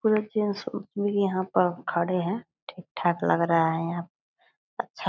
पूरा जेंट्स भी यहाँ पर खड़े हैं। ठीक-ठाक लग रहा है यहाँ। अच्छा --